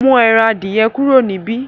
mú èràn adiẹ kúrò ni bí.